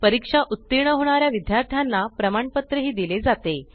परीक्षेत उत्तीर्ण होणाऱ्या विद्यार्थ्यांना प्रमाणपत्र दिले जाते